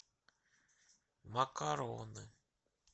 макароны